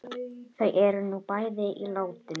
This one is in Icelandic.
Þau eru nú bæði látin.